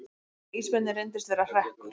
Tilkynning um ísbirni reyndist vera hrekkur